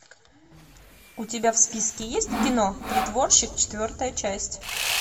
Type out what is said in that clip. у тебя в списке есть кино притворщик четвертая часть